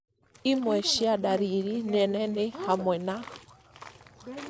imwe cia ndariri nene nĩ hamwe na